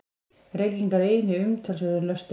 Reykingar eini umtalsverði lösturinn.